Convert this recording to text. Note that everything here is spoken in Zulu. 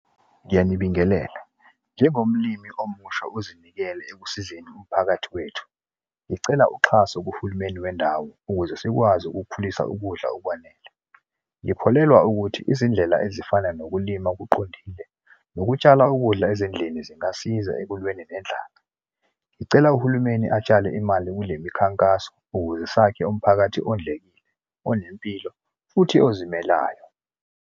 Ngiyanibingelela. Njengomlimi omusha ozinikele ekusizeni umphakathi wethu, ngicela uxhaso kuhulumeni wendawo ukuze sikwazi ukukhulisa ukudla okwanele. Ngikholelwa ukuthi izindlela ezifana nokulima okuqondile, nokutshala ukudla ezindlini zingasiza ekulweni nendlela. Ngicela uhulumeni atshale imali kule mikhankaso ukuze sakhe umphakathi owondlekile, onempilo, futhi ozimelayo.